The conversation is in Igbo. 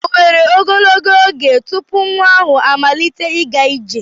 O were ogologo oge tupu nwa ahụ amalite ịga ije?